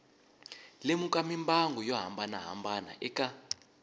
lemuka mimbangu yo hambanahambana eka